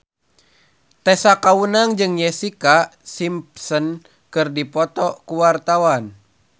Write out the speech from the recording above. Tessa Kaunang jeung Jessica Simpson keur dipoto ku wartawan